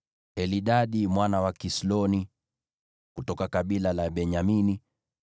Elidadi mwana wa Kisloni, kutoka kabila la Benyamini;